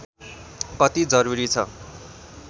कति जरूरी छ